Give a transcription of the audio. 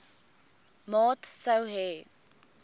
maat sou hê